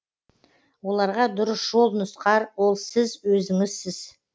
оларға дұрыс жол нұсқар ол сіз өзіңізсіз